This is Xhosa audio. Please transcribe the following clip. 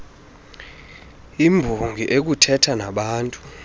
embongi okuthetha nabaantu